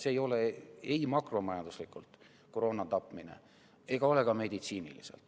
See ei ole ei makromajanduslikult koroona tapmine ega ole seda ka meditsiiniliselt.